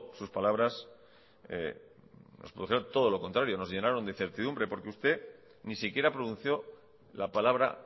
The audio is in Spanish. sus palabras nos producen todo lo contrario nos llenaron de incertidumbre porque usted ni siquiera pronunció la palabra